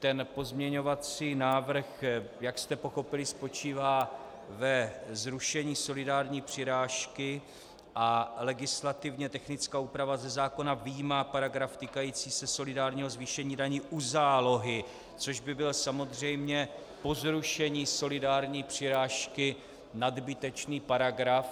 Ten pozměňovací návrh, jak jste pochopili, spočívá ve zrušení solidární přirážky a legislativně technická úprava ze zákona vyjímá paragraf týkající se solidárního zvýšení daní u zálohy, což by byl samozřejmě po zrušení solidární přirážky nadbytečný paragraf.